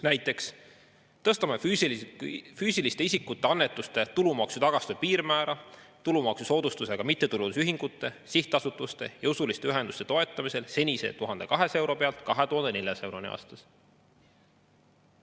Näiteks tõsta füüsilise isiku annetuste tulumaksutagastuse piirmäära tulumaksusoodustusega mittetulundusühingute, sihtasutuste ja usuliste ühenduste toetamisel senise 1200 euro pealt 2400 euroni aastas.